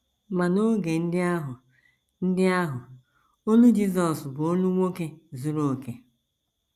Ma n’oge ndị ahụ, ndị ahụ, olu Jizọs bụ olu nwoke zuru okè.